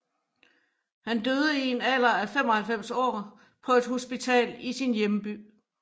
Han døde i en alder af 95 år på et hospital i sin hjemby